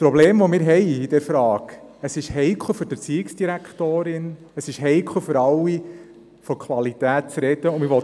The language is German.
Die Probleme, die sich uns bei dieser Frage stellen sind folgende: Es ist heikel für die Erziehungsdirektorin, es ist für alle heikel, die Qualität anzusprechen.